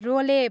रोलेप